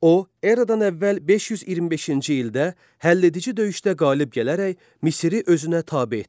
O, Eradan əvvəl 525-ci ildə həlledici döyüşdə qalib gələrək Misiri özünə tabe etdi.